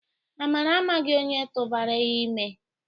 Amara amaghị onye tụbara ya ime.